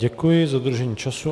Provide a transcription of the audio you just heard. Děkuji za dodržení času.